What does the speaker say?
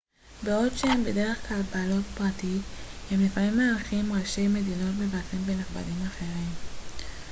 בעוד שהם בדרך כלל בבעלות פרטית הם לפעמים מארחים ראשי מדינות מבקרים ונכבדים אחרים